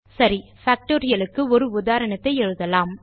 சரி Factorialக்கு ஒரு உதாரணத்தை எழுதலாம்